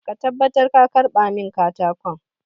Make sure you collect the wood for me!